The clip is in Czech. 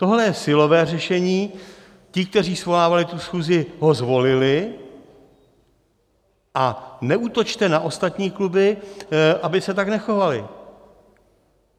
Tohle je silové řešení, ti, kteří svolávali tu schůzi, ho zvolili, a neútočte na ostatní kluby, aby se tak nechovaly.